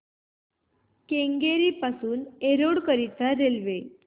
केंगेरी पासून एरोड करीता रेल्वे